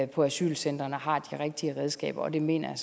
på asylcentrene har de rigtige redskaber og det mener jeg